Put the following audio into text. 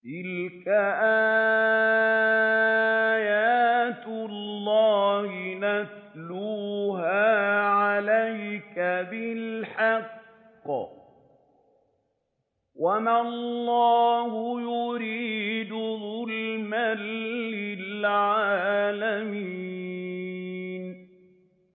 تِلْكَ آيَاتُ اللَّهِ نَتْلُوهَا عَلَيْكَ بِالْحَقِّ ۗ وَمَا اللَّهُ يُرِيدُ ظُلْمًا لِّلْعَالَمِينَ